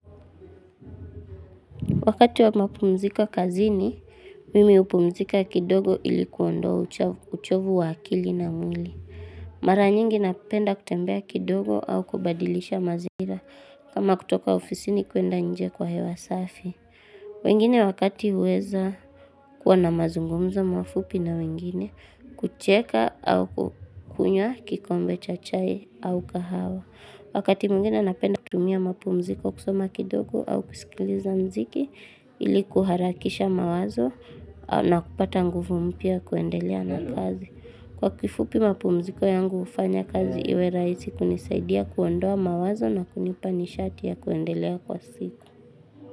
Wakati wa mapumziko kazini, mimi hupumzika kidogo ili kuondoa uchovu wa akili na mwili. Mara nyingi napenda kutembea kidogo au kubadilisha mazira kama kutoka ofisi ni kuenda nje kwa hewa safi. Wengine wakati uweza kuwa na mazungumzo mafupi na wengine, kucheka au kukunywa kikombe cha chai au kahawa. Wakati mwingine napenda kutumia mapu mziko kusoma kidogo au kusikiliza mziki ili kuharakisha mawazo na kupata nguvu mpya ya kuendelea na kazi. Kwa kifupi mapu mziko yangu ufanya kazi iwe raisi kunisaidia kuondoa mawazo na kunipa nishati ya kuendelea kwa siku.